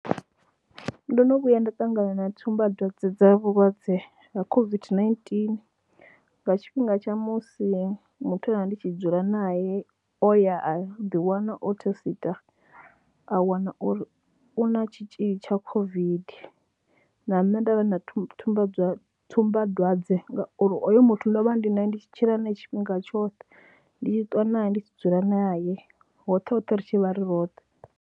ndo no vhuya nda ṱangana na tsumbadwadze dza vhulwadze ha COVID-19 nga tshifhinga tsha musi muthu e nda vha ndi tshi dzula nae o ya a ḓiwana o thesiṱa a wana uri u na tshitzhili tsha COVID na nṋe nda vha na tsumba tsumbadwadze ngauri oyo muthu ndo vha ndi nae, ndi tshila nae tshifhinga tshoṱhe. Ndi tshi ṱuwa nae, ndi tshi dzula naye hoṱhe hoṱhe ri tshi vha ri roṱhe.